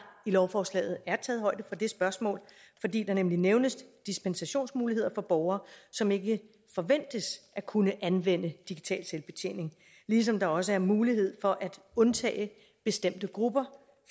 i lovforslaget er taget højde for det spørgsmål fordi der nemlig nævnes dispensationsmuligheder for borgere som ikke forventes at kunne anvende digital selvbetjening ligesom der også er mulighed for at undtage bestemte grupper